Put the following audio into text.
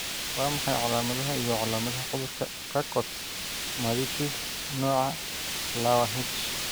Waa maxay calaamadaha iyo calaamadaha cudurka Charcot Marie Tooth nooca lawa H?